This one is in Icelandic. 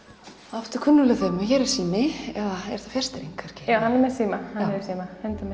aftur kunnugleg þemu hér er sími eða er fjarstýring kannski já hann er með síma hundur með